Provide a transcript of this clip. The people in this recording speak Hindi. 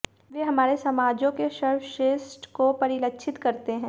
वे हमारे समाजों के सर्वश्रेष्ठ को परिलक्षित करते हैं